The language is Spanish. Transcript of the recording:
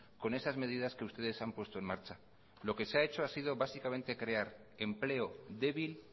con esas medidas que ustedes han puesto en marcha lo que se ha hecho básicamente es crear empleo débil